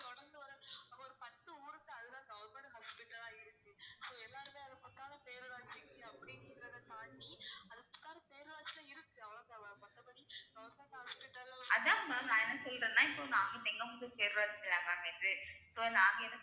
அதான் ma'am நான் என்ன சொல்றேன்னா இப்ப அவுங்க இது so நாங்க என்~